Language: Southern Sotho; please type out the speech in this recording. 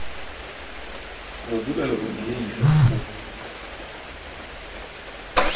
modula le ho diehisa ho